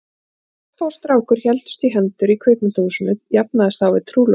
Þegar stelpa og strákur héldust í hendur í kvikmyndahúsinu jafnaðist það á við trúlofun.